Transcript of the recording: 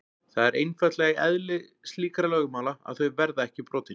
Það er einfaldlega í eðli slíkra lögmála að þau verða ekki brotin.